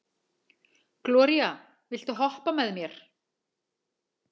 Gloría, viltu hoppa með mér?